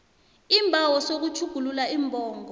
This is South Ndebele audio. isibawo sokutjhugulula iimbongo